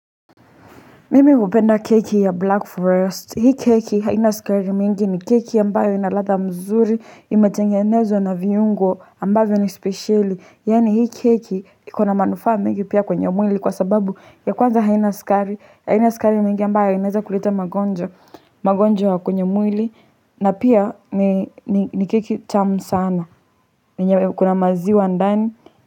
Mimi hupenda keki ya Black Forest. Hii keki haina sukari mingi ni keki ambayo ina ladha mzuri, imetengenezwa na viungo ambavyo ni spesheli. Yaani hii keki iko na manufaa mingi pia kwenye mwili kwa sababu ya kwanza haina sukari, haina sukari mingi ambayo inaweza kuleta magonjwa. Magonjwa kwenye mwili, na pia ni keki tamu sana, yenye kuna maziwa ndani.